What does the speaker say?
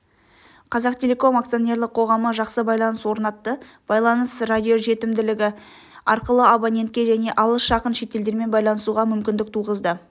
қазақтелеком акционерлік қоғамы жақсы байланыс орнатты байланыс радиожетімділігі арқылы абонентке және алыс жақын шетелдермен байланысуға мүмкіндік туғызды